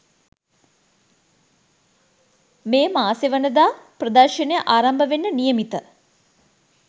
මේ මාසේවනදා ප්‍රදර්ශනය ආරම්භ වෙන්න නියමිත